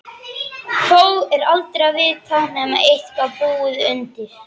Þó er aldrei að vita, nema eitthvað búi undir.